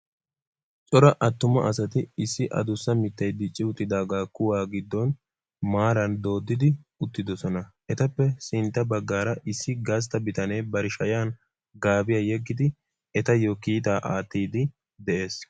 Cora attuma asati issi aduussa miittay dicci uttidaaga kuwaa giiddon maaran dooddidi uttidoosona. etappe sintta baggaara issi gastta bitanee bari shayaan gaabiyaa yeeggidi etayoo kiitaa aattiidi de'ees.